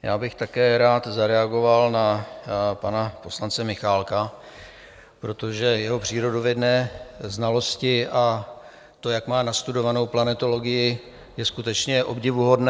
Já bych také rád zareagoval na pana poslance Michálka, protože jeho přírodovědné znalosti a to, jak má nastudovanou planetologii, je skutečně obdivuhodné.